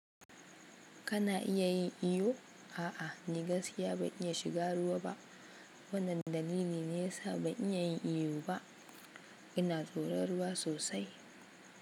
Kana iya yin iyo? A'a, ni gaskiya ban iya shiga ruwa ba. Wannan dalili ne ya sa ban iya yin iyo ba. Ina tsoron ruwa sosai.